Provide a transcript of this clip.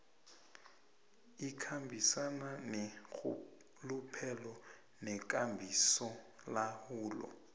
ikhambisana neenrhuluphelo nekambisolawulo